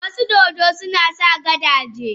Wasu dodo suna sa gadaje.